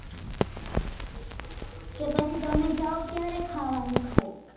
તો પછી તમે જાઓ ત્યારે ખાવા નું ખાય